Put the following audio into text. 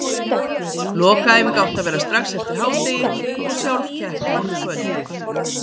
Lokaæfing átti að vera strax eftir hádegi og sjálf keppnin um kvöldið.